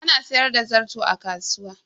Ana sayar da zarto a kasuwa.